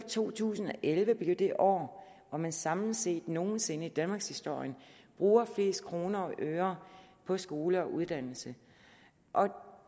to tusind og elleve blive det år hvor man samlet set nogen sinde i danmarkshistorien bruger flest kroner og øre på skole og uddannelse